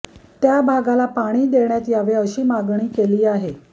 त्या भागाला पाणी पाणी देण्यात यावे अशी मागणी केली आहे